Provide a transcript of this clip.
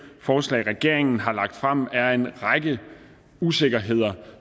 forslag regeringen har lagt frem er en række usikkerheder